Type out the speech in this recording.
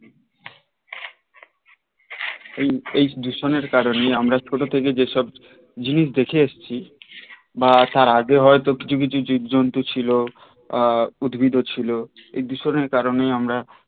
এই দূষণ এর কারণে আমরা ছোট থেকে যেসব জিনিস দেখে এসেছি বা তার আগে হয়তো কিছু কিছু জীবজন্তু ছিল উদ্ভিদও ছিল এই দূষণের কারণে আমরা